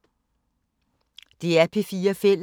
DR P4 Fælles